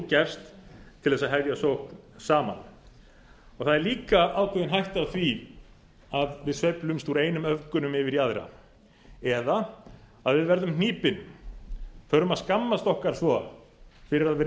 gefst til að hefja sókn saman það er líka ákveðin hætta á því að við sveiflumst úr einum öfgunum yfir í aðrar eða að við verðum hnípin förum að skammast okkar svo fyrir að vera